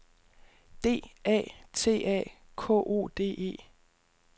D A T A K O D E